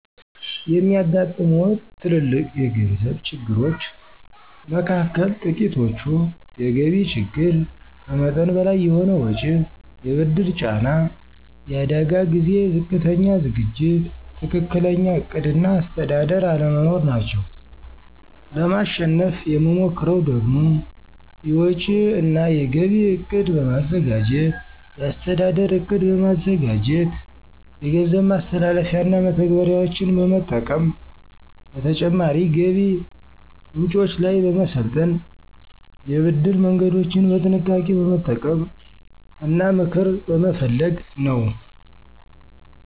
የሚያጋጥሙዎት ትልልቅ የገንዘብ ችግሮች መካከል ጥቂቶቹ፤ የገቢ ችግር፣ ከመጠን በላይ የሆነ ወጪ፣ የብድር ጫና፣ የአደጋ ጊዜ ዝቅተኛ ዝግጅት፣ ትክክለኛ ዕቅድ እና አስተዳደር አለመኖር ናቸው። ለማሸነፍ የምሞክረው ደግሞ፤ የወጪ እና የገቢ እቅድ በማዘጋጀት፣ የአስተዳደር ዕቅድ በማዘጋጀት፣ የገንዘብ ማስተላለፊያና መተግበሪያዎችን በመጠቀም፣ በተጨማሪ ገቢ ምንጮች ላይ በመሰልጠን፣ የብድር መንገዶችን በጥንቃቄ በመጠቀም እና ምክር በመፈለግ ነው።